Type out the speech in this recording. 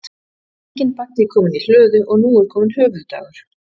Enginn baggi kominn í hlöðu og nú kominn höfuðdagur.